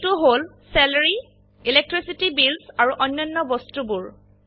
এইটো হল salary electricity bills আৰু অন্যান্য বস্তুবোৰ